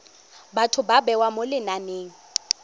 batho ba bewa mo lenaneng